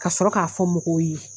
Ka sɔrɔ k'a fɔ mɔgɔw ye.